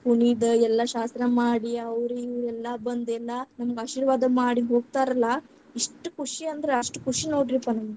ಕುಣಿದು ಎಲ್ಲಾ ಶಾಸ್ತ್ರ ಮಾಡಿ ಅವ್ರ್ ಇವ್ರ್ ಎಲ್ಲಾ ಬಂದ್‌ ಎಲ್ಲಾ ನಮಗ್‌ ಆಶೀರ್ವಾದ ಮಾಡಿ ಹೊಗ್ತಾರಲ್ಲಾ, ಇಸ್ಟ್ ಖುಷಿ ಅಂದ್ರ ಅಷ್ಟ್ ಖುಷಿ ನೋಡ್ರಿಪ್ಪಾ.